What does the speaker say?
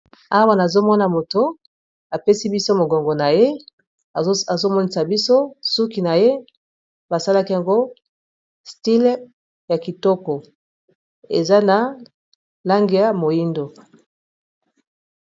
awa nazomona moto apesi biso mogongo na ye azomonisa biso suki na ye basalaki yango style ya kitoko eza na lange ya moindo